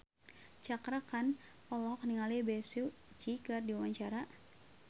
Cakra Khan olohok ningali Bae Su Ji keur diwawancara